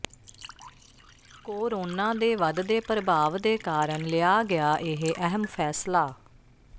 corona ਦੇ ਵੱਧਦੇ ਪ੍ਰਭਾਵ ਦੇ ਕਾਰਨ ਲਿਆ ਗਿਆ ਇਹ ਅਹਿਮ ਫੈਸਲਾ